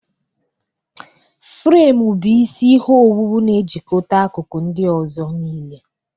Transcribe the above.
Fremu bụ isi ihe owuwu na-ejikọta akụkụ ndị ọzọ niile.